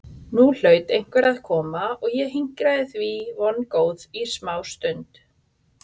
Nú hlaut einhver að koma og ég hinkraði eftir því vongóð í smástund.